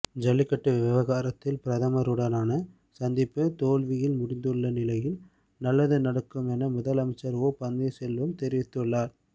ஜல்லிக்கட்டு விவகாரத்தில் பிரதமருடனான சந்திப்பு தோல்வியில் முடிந்துள்ள நிலையில் நல்லது நடக்கும் என முதலமைச்சர் ஒ பன்னீர்செல்வம்தெரிவித்தார்